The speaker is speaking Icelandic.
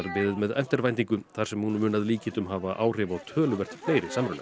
beðið með eftirvæntingu þar sem hún mun að líkindum hafa áhrif á töluvert fleiri samruna